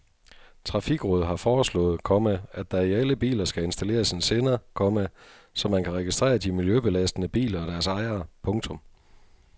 Trafikrådet har foreslået, komma at der i alle biler skal installeres en sender, komma så man kan registrere de miljøbelastende biler og deres ejere. punktum